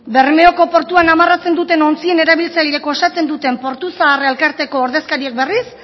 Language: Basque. bermeoko portuak amarratzen duten ontzien erabiltzaileek osatzen duten portu zahar elkarteko ordezkariek berriz